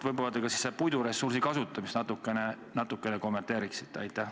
Võib-olla te ka puiduressursi kasutamist natukene kommenteerite?